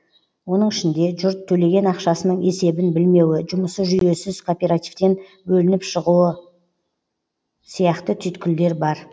оның ішінде жұрт төлеген ақшасының есебін білмеуі жұмысы жүйесіз кооперативтен бөлініп шығуы сияқты түйткілдер бар